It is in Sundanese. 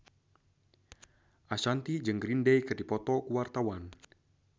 Ashanti jeung Green Day keur dipoto ku wartawan